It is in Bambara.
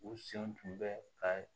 U senw tun bɛ ka